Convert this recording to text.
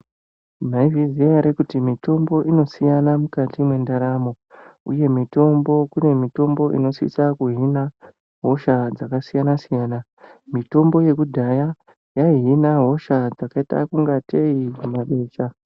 Mwaizviziya ere kuti mitombo inosiyana mukati mwendaramo, uye mitombo kune mitombo inosisa kuhina hosha dzakasiyana-siyana. Mitombo yekudhaya yaihina hosha dzakaita ungatei humabesha.